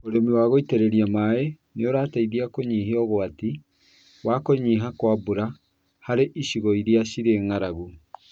ũrĩmi wa gũitĩrĩria maĩ nĩ ũrateithia kũnyihia ũgwati wa kũnyiha kwa nbura harĩ icigo irĩa cirĩ ng'aragu.